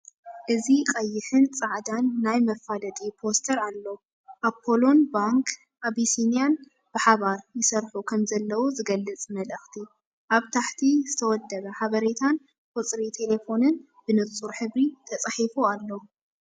እዚ ቀይሕን ጻዕዳን ናይ መፋለጢ ፖስተር ኣሎ፡ ኣፖሎን ባንክ ኣቢሲንያን ብሓባር ይሰርሑ ከምዘለዉ ዝገልጽ መልእኽቲ። ኣብ ታሕቲ፡ ዝተወደበ ሓበሬታን ቁጽሪ ተሌፎንን ብንጹር ሕብሪ ተጻሒፉ ኣሎ።